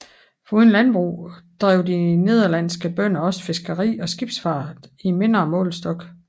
Foruden landbrug drev de de nederlandske bønder også fiskeri og skibsfart i mindre målestok